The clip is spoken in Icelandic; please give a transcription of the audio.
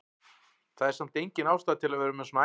Það er samt engin ástæða til að vera með svona æsing!